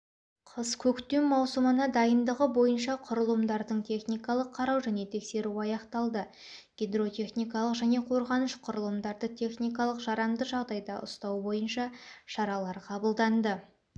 қыс-көктем маусымына дайындығы бойынша құрылымдардың техникалық қарау және тексеру аяқталды гидротехникалық және қорғаныш құрылымдарды техникалық жарамды жағдайда ұстау бойынша шаралар қабылданды